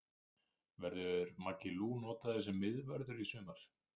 Verður Maggi Lú notaður sem miðvörður í sumar?